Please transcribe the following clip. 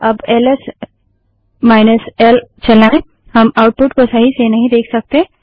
अब L S L चलाएँ हम आउटपुट को सही से नहीं देख सकते